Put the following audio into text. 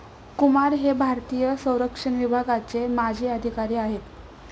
कुमार हे भारतीय संरक्षण विभागाचे माजी अधिकारी आहेत.